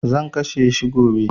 Zan kashe shi gobe.